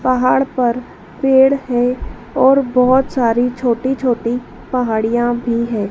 पहाड़ पर पेड़ है और बहोत सारी छोटी छोटी पहाड़ियां भी है।